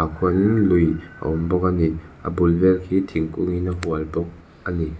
ah khuan lui a awm bawk a a ni a bul vel hi thingkungin a hual bawk a ni.